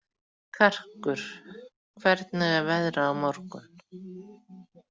Karkur, hvernig er veðrið á morgun?